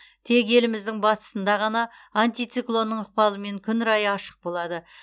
тек еліміздің батысында ғана антициклонның ықпалымен күн райы ашық болады